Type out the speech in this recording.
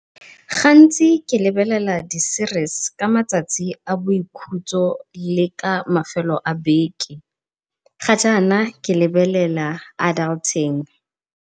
Gantsi ke lebelela di-series ka matsatsi a boikhutso le ka mafelo a beke, ga jaana ke lebelela Adulting.